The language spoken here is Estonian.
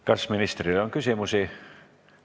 Kas ministrile on küsimusi?